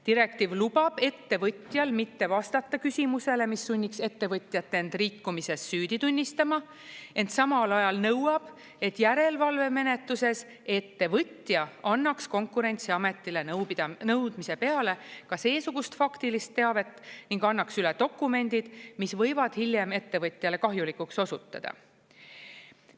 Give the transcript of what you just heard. Direktiiv lubab ettevõtjal mitte vastata küsimusele, mis sunniks ettevõtjat end rikkumises süüdi tunnistama, ent samal ajal nõuab, et järelevalvemenetluses ettevõtja annaks Konkurentsiametile nõudmise peale ka seesugust faktilist teavet ning annaks üle dokumendid, mis võivad hiljem ettevõtjale kahjulikuks osutuda.